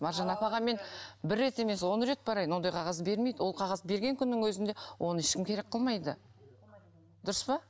маржан апаға мен бір рет емес он рет барайын ондай қағаз бермейді ол қағаз берген күннің өзінде оны ешкім керек қылмайды дұрыс па